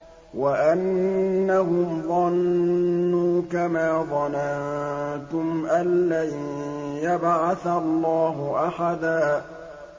وَأَنَّهُمْ ظَنُّوا كَمَا ظَنَنتُمْ أَن لَّن يَبْعَثَ اللَّهُ أَحَدًا